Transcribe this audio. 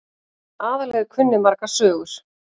Aðalheiður kunni margar sögur.